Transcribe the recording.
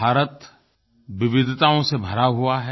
भारत विविधताओं से भरा हुआ है